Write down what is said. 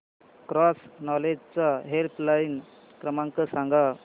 cross knowledge चा helpline क्रमांक सांगा